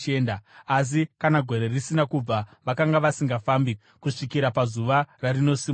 asi kana gore risina kubva, vakanga vasingafambi, kusvikira pazuva rarinosimuka.